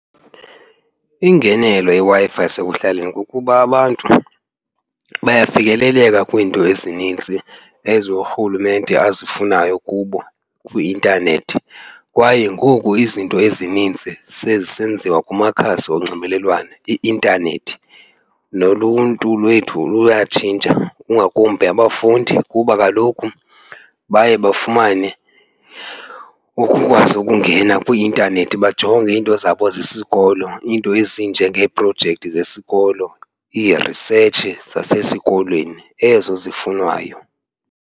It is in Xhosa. Ingenelo yeWi-Fi yasekuhlaleni kukuba abantu bayafikeleleka kwiinto ezinintsi ezo urhulumente azifunayo kubo kwi-intanethi kwaye ngoku izinto ezininzi sezisenziwa kumakhasi onxibelelwano, i-intanethi. Noluntu lwethu luyatshintsha kungakumbi abafundi kuba kaloku baye bafumane ukukwazi ukungena kwi-intanethi bajonge iinto zabo zesikolo, iinto ezinjengeeprojekthi zesikolo, ii-research zasesikolweni ezo zifunwayo.